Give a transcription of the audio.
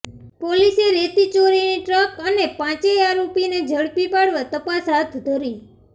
પોલીસે રેતી ચોરીની ટ્રક અને પાંચેય આરોપીઓને ઝડપી પાડવા તપાસ હાથ ધરી